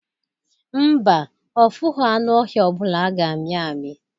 Mba, ọ fụghọ anụ ọhịa ọbụla a ga-amị amị